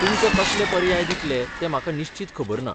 तुमकां कसले पर्याय दितले तें म्हाका निश्चीत खबर ना.